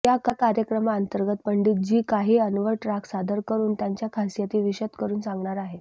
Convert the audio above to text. या कार्यक्रमांतर्गत पंडितजी काही अनवट राग सादर करून त्यांच्या खासियती विषद करून सांगणार आहेत